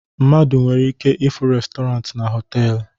Mmadụ nwere ike ịfụ restọrant na họtelu